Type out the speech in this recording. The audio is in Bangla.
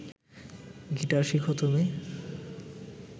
গিটার শিখ তুমি